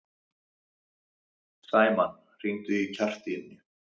Sæmann, hringdu í Kjartaníu.